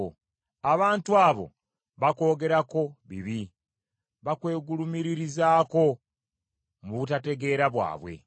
Abantu abo bakwogerako bibi; bakwegulumiririzaako mu butategeera bwabwe.